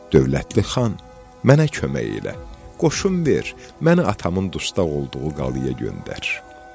Dövlətli Xan, mənə kömək elə, qoşun ver, məni atamın dustaq olduğu qalaya göndər.